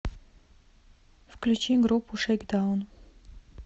включи группу шейкдаун